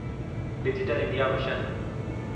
digital India mission